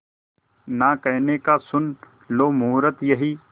ना कहने का सुन लो मुहूर्त यही